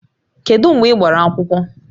Kedu mgbe ị gbara akwụkwọ?